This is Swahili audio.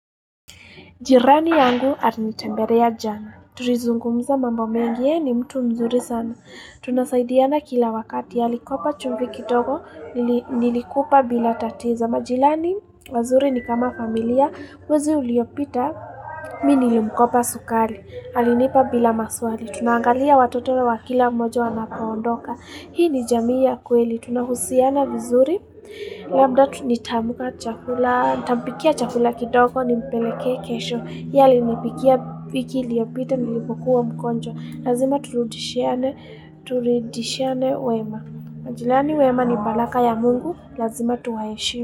Jirani yangu atinitamberea jana. Turizungumza mambo mengi ye ni mtu mzuri sana. Tunasaidiana kila wakati. Alikopa chumvi kidogo. Nili Nilikupa bila tatiza. Majilani, wazuri ni kama familia. Mwezi uliopita. Mi nilimkopa sukali. Alinipa bila maswali. Tunaangalia watoto wa kila mmojo wanapoondoka. Hii ni jamii ya kweli. Tunahusiana vizuri. Labda, nitaamka chakula. Ntampikia chakula kidogo nimpelekee kesho. Yeye alinipikia wiki iliyopita nilipokuwa mgonjwa Lazima turudishiane, turidishiane wema. Majilani wema ni balaka ya mungu. Lazima tuwaheshi.